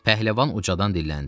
Pəhləvan ucadan dilləndi.